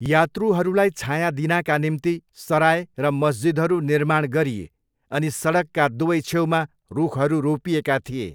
यात्रुहरूलाई छायाँ दिनाका निम्ति सराय र मस्जिदहरू निर्माण गरिए अनि सडकका दुवै छेउमा रूखहरू रोपिएका थिए।